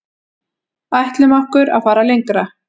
Ætlum okkur að fara lengra